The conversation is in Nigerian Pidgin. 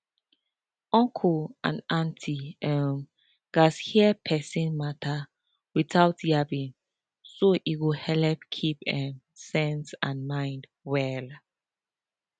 uncle and auntie um gatz hear persin matter without yabbing so e go helep keep um sense and mind well